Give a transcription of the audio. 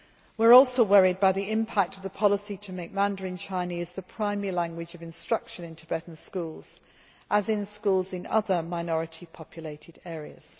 We are also worried by the impact of the policy to make Mandarin Chinese the primary language of instruction in Tibetan schools, as in schools in other minority populated areas.